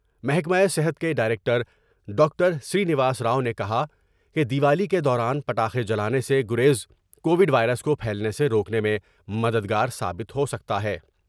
محکمہ صحت کے director doctor Srinivas Rao نے کہا کہ دیوالی کے دوران پٹانے جانے سے گریز کو وڈوائرس کو پھیلنے سے روکنے میں مددگار ثابت ہوسکتا ہے ۔